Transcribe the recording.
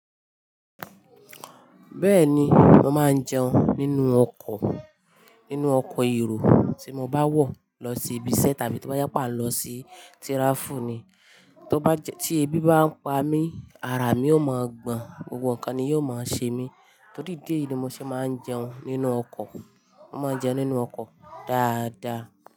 Bẹ́ẹ̀ni, mo máa ń jẹun nínú ọkọ̀, nínú ọkọ̀ èrò tí mo bá wọ̀ lọ sí ibi iṣẹ́ tàbí tí ó bá yá pà lọ sí tíráfúù ni. Tí ebi bá ń pa mí, ara mi ó mo gbọ̀n, gbogbo nǹkan ni yóò máa ṣe mí, torí ìdí ni mo ṣe máa ń jẹun nínú ọkọ̀. Mo máa ń jẹun nínú ọkọ̀ dáadáa.